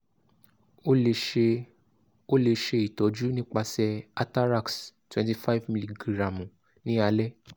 o le ṣe o le ṣe itọju nipasẹ atarax twenty five miligiramu ni alẹ